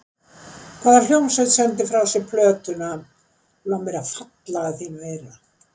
Hvaða hljómsveit sendi frá sér plötuna Lof mér að falla að þínu eyra?